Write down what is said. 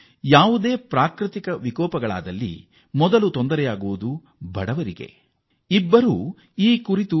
ಯಾವಾಗ ಪ್ರಾಕೃತಿಕ ವಿಕೋಪಗಳು ಎದುರಾಗುತ್ತವೋ ಆಗ ಶೋಷಿತರು ಬಡವರು ಮೊದಲಿಗೆ ಇದಕ್ಕೆ ತುತ್ತಾಗುತ್ತಾರೆ